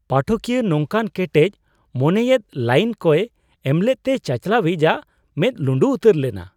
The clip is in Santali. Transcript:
ᱯᱟᱴᱷᱚᱠᱤᱭᱟᱹ ᱱᱚᱝᱠᱟᱱ ᱠᱮᱴᱮᱡ ᱢᱚᱱᱮᱭᱟᱛᱮᱫ ᱞᱟᱭᱤᱱ ᱠᱚᱭ ᱮᱢᱞᱮᱫ ᱛᱮ ᱪᱟᱪᱟᱞᱟᱣᱤᱡ ᱟᱜ ᱢᱮᱫ ᱞᱩᱸᱰᱩ ᱩᱛᱟᱹᱨ ᱞᱮᱱᱟ ᱾